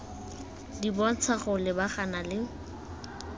di bontsha go lebagana le